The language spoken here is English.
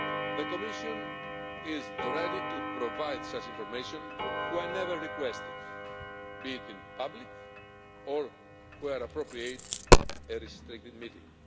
The Commission is ready to provide such information whenever requested, be it in public or, when appropriate, in a restricted meeting.